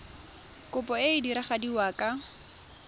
kopo e e diragadiwa ka